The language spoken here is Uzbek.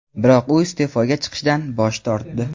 biroq u iste’foga chiqishdan bosh tortdi.